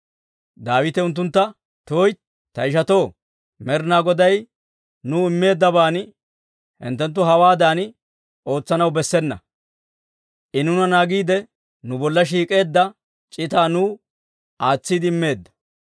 Daawite unttuntta, «tuytti; ta ishatoo! Med'inaa Goday nuw immeeddaban hinttenttu hawaadan ootsanaw bessena. I nuuna naagiide, nu bolla shiik'eedda c'itaa nuw aatsiide immeedda.